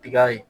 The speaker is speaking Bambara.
Tiga in